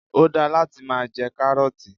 Ó da láti máa jẹ 'Káárótì '